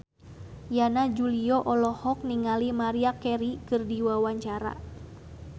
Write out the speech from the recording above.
Yana Julio olohok ningali Maria Carey keur diwawancara